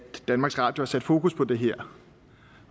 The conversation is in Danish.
danmarks radio har sat fokus på det her